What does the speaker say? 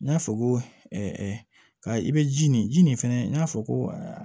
N y'a fɔ ko ka i bɛ ji nin ji nin fɛnɛ n'a fɔ ko